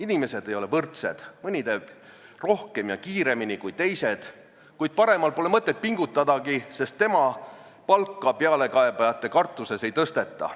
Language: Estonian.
Inimesed ei ole võrdsed: mõni teeb rohkem ja kiiremini kui teised, kuid paremal pole mõtet pingutadagi, sest tema palka pealekaebajate kartuses ei tõsteta.